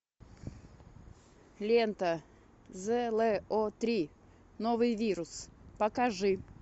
лента зло три новый вирус покажи